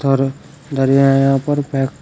और धरी है यहां पर पैक --